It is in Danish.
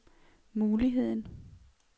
muligheden